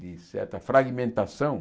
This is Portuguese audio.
De certa fragmentação.